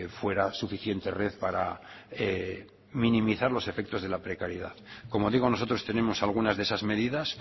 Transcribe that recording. fuera suficiente red para minimizar los efectos de la precariedad como digo nosotros tenemos algunas de esas medidas